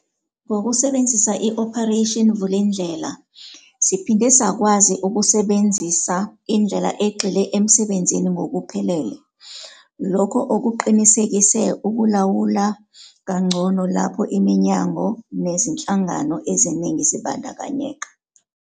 Ngokusebenzisa i-Operation Vulindlela, siphinde sakwazi ukusebenzisa indlela egxile emsebenzini ngokuphelele, lokho okuqinisekise ukulawula kangcono lapho iminyango nezinhlangano eziningi zibandakanyeka.